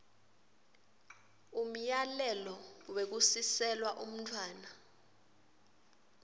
umyalelo wekusiselwa umntfwana